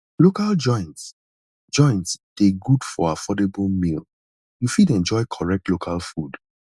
local joints joints dey good for affordable meal you fit enjoy correct local food